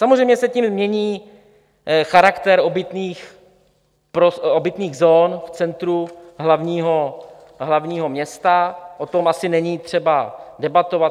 Samozřejmě se tím mění charakter obytných zón v centru hlavního města, o tom asi není třeba debatovat.